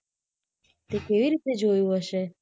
તે કેવી રીતે જોયું હશે!